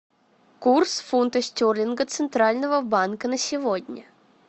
курс фунта стерлинга центрального банка на сегодня